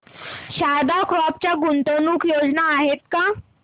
Sharda crop च्या गुंतवणूक योजना आहेत का